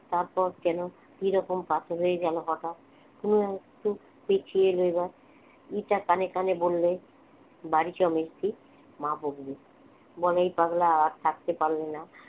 তারপর কেন কিরকম পাথর হয়ে গেল হঠাৎ অনু আর একটু পিছিয়ে এলো এবার মিতা কানে কানে বললে বাড়ি চ মেজদি মা বকবে বলাই পাগলা আর থাকতে পারলে না